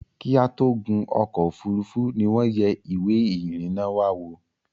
Kí a tó gún ọ̀kọ̀ ofúrufú ni wọ́n yẹ ìwé ìrìnà wa wò